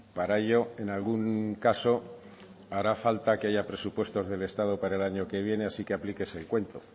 para ello en algún caso hará falta que haya presupuestos del estado para el año que viene así que aplíquese el cuento